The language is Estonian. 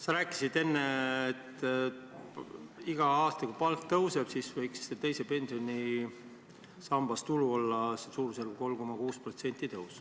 Sa rääkisid enne, et iga aastaga palk tõuseb ja teise pensionisamba tootlus võiks olla suurusjärgus 3,6%.